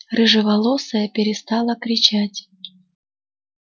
рыжеволосая перестала кричать